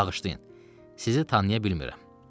Bağışlayın, sizi tanıya bilmirəm.